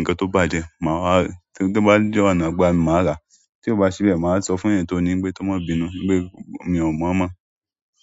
ǹkan tó bàjẹ́, ma wa ri, torí ti mo bá de ọ̀nà ìgbà mi, màá rà á. Tí ó bá ṣi bẹ́ẹ̀, màá wa sọ fún èèyàn tó ní wípé kó má bínú wípé mi ò mọ̀ mọ́.